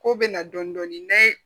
Ko bɛ na dɔɔnin dɔɔnin n ye